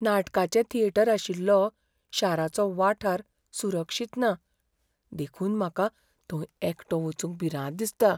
नाटकाचें थिएटर आशिल्लो शाराचो वाठार सुरक्षित ना देखून म्हाका थंय एकटो वचूंक भिरांत दिसता.